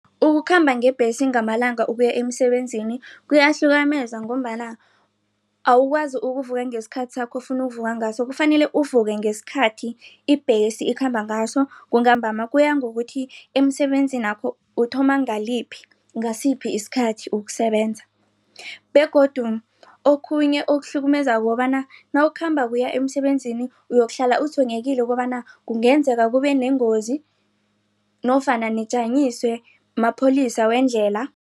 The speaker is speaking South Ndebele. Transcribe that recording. Ukukhamba ngebhesi ngamalanga ukuya emisebenzini ngombana awukwazi ukuvuvuka ngesikhathi sakho ofuna ukuvuvuka ngaso kufanele uvuke ngesikhathi ibhesi ekhamba ngaso kuya ngokuthi emsebenzinakho uthoma ngaliphi ngasiphi isikhathi ukusebenza begodu okhunye okuhlukumezako ukobana nawukhambako uya emsebenzini uyokuhlala utshwenyekile ukobana kungenzeka kubeneengozi nofana nijanyiswe mapholisa wendlela.